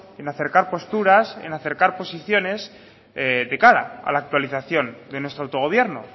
en acercar posturas en acercar posiciones de cara a la actualización de nuestro autogobierno